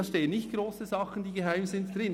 Darin stehen nicht grosse, geheime Sachen drin.